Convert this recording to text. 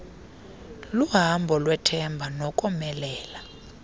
luhambo lwethemba nokomelela